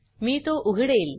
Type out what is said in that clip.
मी तो उघडेल